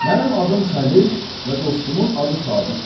Mənim adım Xəlil və dostumun adı Sadiqdir.